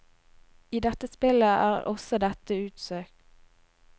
I dette spillet er også dette utsøkt.